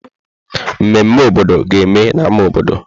Mmeme obodo ga-eme na ámá obodo.